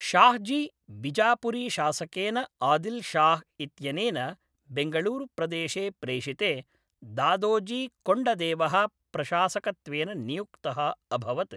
शाहजी, बिजापुरीशासकेन आदिल् शाह् इत्यनेन बेङ्गळूरुप्रदेशे प्रेषिते, दादोजी कोण्डदेवः प्रशासकत्वेन नियुक्तः अभवत्।